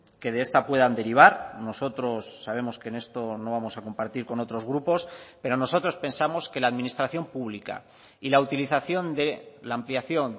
que de esta puedan derivar nosotros sabemos que en esto no vamos a compartir con otros grupos pero nosotros pensamos que la administración pública y la utilización de la ampliación